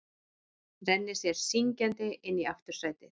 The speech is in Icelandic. Rennir sér syngjandi inn í aftursætið.